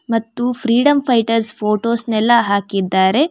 ಮತ್ತು freedom fighters photos ನೆಲ್ಲ ಹಾಕಿದ್ದಾರೆ.